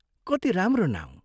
कति राम्रो नाउँ!